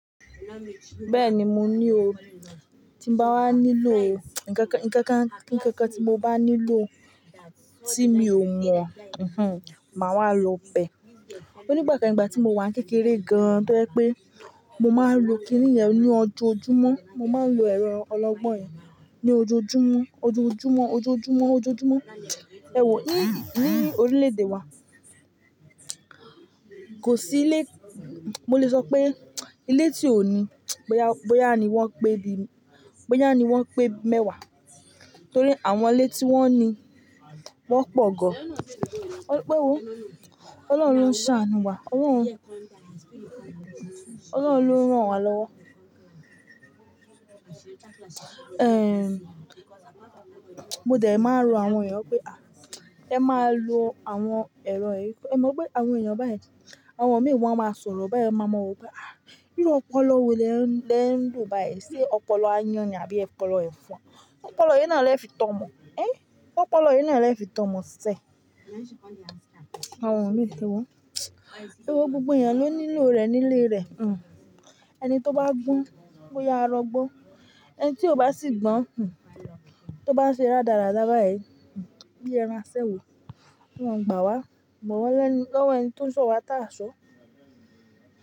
Bẹ́ẹ̀ni mo ní o. Tí n bá wá nílò, nkankan, nkankan, kí nkankan tí mo bá nílò tí mi ò mọ, hmm, màá wá lo pẹ̀. Nígbà kan ìgbà tí mo wà n kékeré gan-an to je pé mo máa ń lo kiní yen ní ọjọ́ojúmọ́, mo máa ń lo ẹ̀rọ ọlọ́gbọ́n yen ní ojoojúmọ́, ojoojúmọ́, ojoojúmọ́, ojoojúmọ́. Ewo, ni ní orílẹ̀-èdè wa, kò sí ilé, mo lè sọ pé ilé tí ò ní bóyá, bóyá ni wọ́n pé di, bóyá ni wọ́n pé mẹ́wàá. Torí àwọn ilé tí wọ́n ní wọ́n pọ̀ gan. Ó pé wò, Ọlọ́run ṣàánù wa, Ọlọ́run lo n rán wa lọ́wọ́. Mo dẹ̀ máa n ró àwọn ènìyàn pé a, ẹ máa lo àwọn ẹ̀rọ ẹ. È mo wipé àwọn ènìyàn beyen Àwọn mìi won a máa sọ̀rọ̀ beyen máa ma wope a, irú ọpọlọ wo lẹ ń le n lo báyìí. Ṣé ọpọlọ aáyán ni àbí ọpọlọ ẹ̀fọn? Ọpọlọ ìyẹn náà ni e o fi tọ́mọ. Ẹ, ọpọlọ ìyẹn náà ni le fi tọ́mọ sẹ. Àwọn mìíràn ni wọ́n. Irú gbogbo ènìyàn ló nílò rẹ̀ nílé rẹ̀, hmmn. Ẹni tó bá gbọ́n, bóyá arọ gbọ́. Ẹni tí ó bá sì gbọ́n, hmm, tó bá ṣe rárádá báyìí, hmm, bí ẹran asẹ́wó, wọn gbà wá, bọ̀ wa lẹ́nu lọ́wọ́ ẹni tó ń sọ wá ta á sọ.